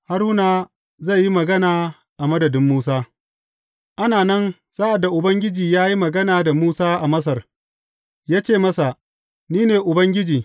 Haruna zai yi magana a madadin Musa Ana nan, sa’ad da Ubangiji ya yi magana da Musa a Masar, ya ce masa, Ni ne Ubangiji.